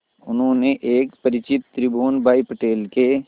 उन्होंने एक परिचित त्रिभुवन भाई पटेल के